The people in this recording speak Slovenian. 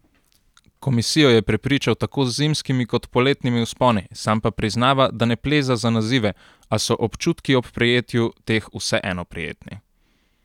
Komisijo je prepričal tako z zimskimi kot poletnimi vzponi, sam pa priznava, da ne pleza za nazive, a so občutki ob prejetju teh vseeno prijetni.